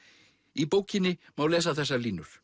í bókinni má lesa þessar línur